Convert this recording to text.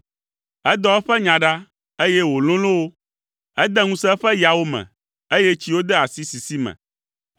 Edɔ eƒe nya ɖa, eye wòlolo wo. Ede ŋusẽ eƒe yawo me, eye tsiwo de asi sisi me.